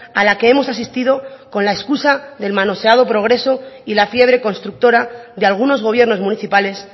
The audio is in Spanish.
a la que hemos asistido con la excusa del manoseado progreso y la fiebre constructora de algunos gobiernos municipales